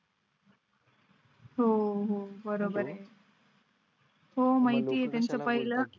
हो हो बरोबर आहे. हो माहिती ये त्या चं पाहिलं की?